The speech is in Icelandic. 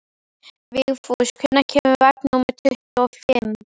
Vigfús, hvenær kemur vagn númer tuttugu og fimm?